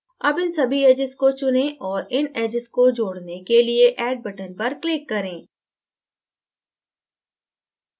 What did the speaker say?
अब इन सभी edges को चुनें और इन edges को जोडने के लिए add button पर click करें